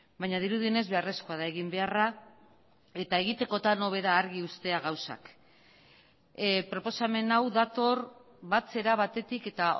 baina dirudienez beharrezkoa da egin beharra eta egitekotan hobe da argi uztea gauzak proposamen hau dator batzera batetik eta